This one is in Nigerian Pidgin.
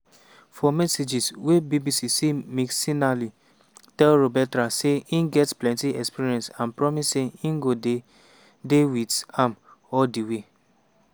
for messages wey bbc see mcinally tell roberta say e get plenti experience and promise say e go dey dey wit am all di way.